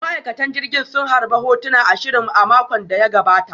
Ma'aikatan jirgin sun harbe hotuna ashirin a makon da ya gabata